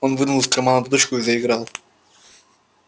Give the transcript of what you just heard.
он вынул из кармана дудочку и заиграл